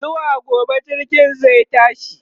zuwa gobe jirgin zai tashi